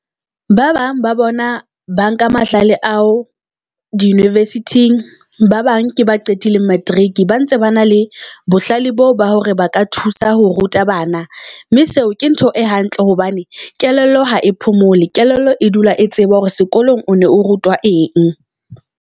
Ba bang ba bona ba nka mahlale ao di university-eng ba bang ke ba qetileng materiki. Ba ntse ba na le bohlale boo ba hore ba ka thusa ho ruta bana mme seo ke ntho e hantle hobane kelello ha e phomole. Kelello e dula e tseba hore sekolong o ne o rutwa eng.